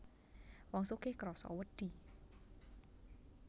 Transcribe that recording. Wong sugih krasa wedi